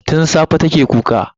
Tun safe take kuka.